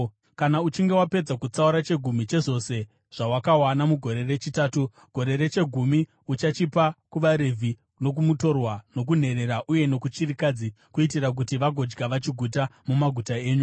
Kana uchinge wapedza kutsaura chegumi chezvose zvawakawana mugore rechitatu, gore rechegumi, uchachipa kuvaRevhi, nokumutorwa, nokunherera uye nokuchirikadzi, kuitira kuti vagodya vachiguta mumaguta enyu.